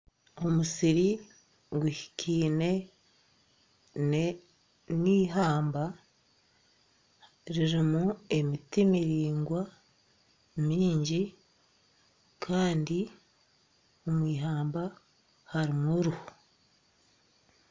Omwojo akwaitse enkoni ajwaire esaati erikutukura nempare erikwera Ari aha kibunu kyente ningashi aziri enyuma aha rubaju hariho ebishaka kandi ente zaine otucwamutwe otunyina otuto